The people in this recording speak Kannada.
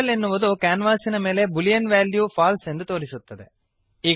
ಟರ್ಟಲ್ ಎನ್ನುವುದು ಕ್ಯಾನ್ವಾಸಿನ ಮೇಲೆ ಬೂಲಿಯನ್ ವೆಲ್ಯೂ ಫಾಲ್ಸೆ ಎಂದು ತೋರಿಸುತ್ತದೆ